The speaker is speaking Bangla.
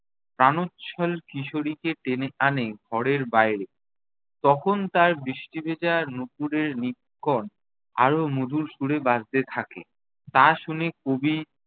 প্রাণোচ্ছল কিশোরীকে টেনে আনে ঘরের বাইরে। তখন তার বৃষ্টি ভেজা নুপুরের নিক্কণ আরও মধুর সুরে বাজতে থাকে। তা শুনে কবি